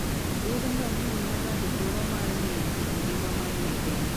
Wuoth ngamia miyo ng'ato thuolo mar ng'eyo kit ngima manie piny.